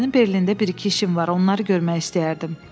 Mənim Berlində bir-iki işim var, onları görmək istəyərdim.